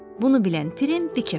Bunu bilən Pirim bikəf olur.